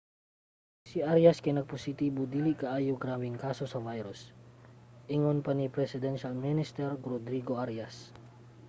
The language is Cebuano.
si arias kay nagpositibo sa dili kaayo grabeng kaso sa virus ingon pa ni presidential minister rodrigo arias